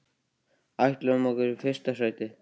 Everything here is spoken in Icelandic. Við ætlum okkur fyrsta sætið.